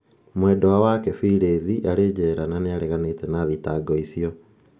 Mwendandũ wake, Phylis, arĩ njera na nĩ areganĩte na thitango icio.